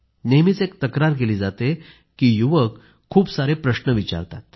नेहमीच एक तक्रार केली जाते की युवक खूप सारे प्रश्न विचारतात